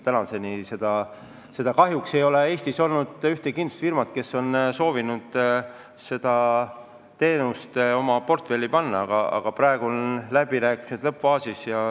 Seni kahjuks ei ole Eestis olnud ühtegi kindlustusfirmat, kes on soovinud seda teenust oma portfelli panna, aga praegu on läbirääkimised lõppfaasis.